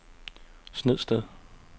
Snedsted